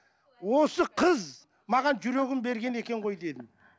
осы қыз маған жүрегін берген екен ғой дедім